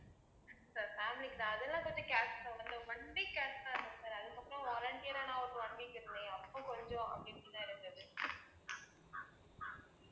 sir family க்கு தான் அதெல்லாம் பத்தி careful ஆ அந்த one week careful ஆ இருந்தேன் sir அதுக்கப்புறம் volunteer யா நான் ஒரு one week இருந்தேன் அப்போ கொஞ்சம் அப்படி இப்படித்தான் இருந்தது